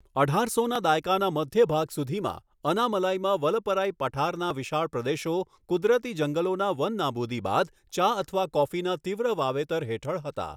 અઢારસોના દાયકાના મધ્ય ભાગ સુધીમાં, અનામલાઇમાં વલપરાઇ પઠારના વિશાળ પ્રદેશો કુદરતી જંગલોના વનનાબૂદી બાદ ચા અથવા કોફીના તીવ્ર વાવેતર હેઠળ હતા.